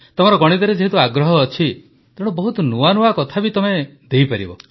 ତମର ଗଣିତରେ ଯେହେତୁ ଆଗ୍ରହ ଅଛି ତେଣୁ ବହୁତ ନୂଆ ନୂଆ କଥା ବି ତମେ ଦେଇପାରିବ